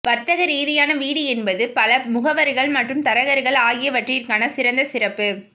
வர்த்தகரீதியான வீடு என்பது பல முகவர்கள் மற்றும் தரகர்கள் ஆகியவற்றிற்கான சிறந்த சிறப்பு